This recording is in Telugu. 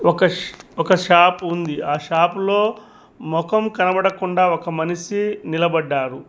ఒక ఒక షాపు ఉంది ఆ షాపులో మొఖం కనబడకుండా ఒక మనిషి నిలబడ్డారు.